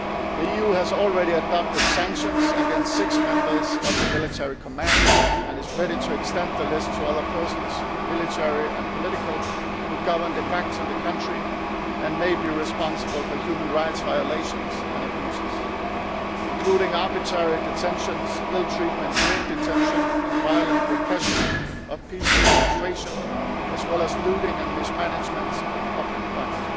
The EU has already adopted sanctions against six members of the Military Command and is ready to extend the list to other persons, military and political, who are de facto governing the country and may be responsible for human rights violations and abuses, including arbitrary detentions, ill treatment during detention and violent repression of peaceful demonstrations, as well as looting and mismanagement of public funds.